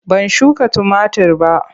Ban shuka tumatir ba.